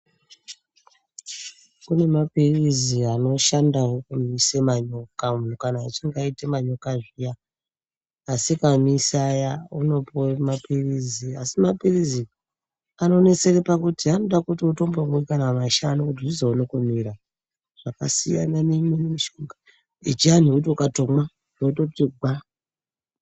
Kune mapirizi anoshandawo kumise manyoka. Muntu kana achinge aite manyoka zviya, asikamisi aya, unopuwe mapirizi. Asi mapirizi anonesere pakuti anoda kuti utombomwe kana mashanu kuti zvizoone kumira. Zvakasiyana neimweni mishonga yechiantu yekuti ukatomwa zvototi gwa.